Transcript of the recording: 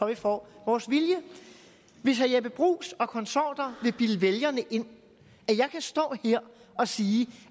vi får vores vilje hvis herre jeppe bruus og konsorter vil bilde vælgerne ind at jeg kan stå her og sige